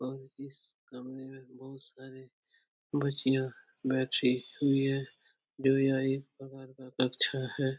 और इस कमरे में बहोत सारी बच्चियाँ बैठी हुई हैं जो यह एक प्रकार का कक्षा है।